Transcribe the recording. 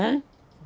Hã?